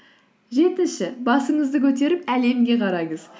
жетінші басыңызды көтеріп әлемге қараңыз